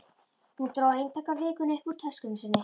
Hún dró eintak af Vikunni upp úr töskunni sinni.